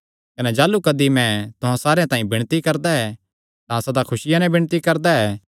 कने जाह़लू कदी मैं तुहां सारेयां तांई विणती करदा ऐ तां सदा खुसिया नैं विणती करदा ऐ